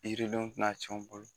yiridenw tɛ na cɛn an bolo.